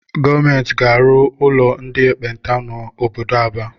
Gọọmenti ga-arụ ụlọ ndị ekpenta n'obodo Aba.